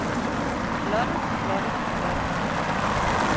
flotte flotte flotte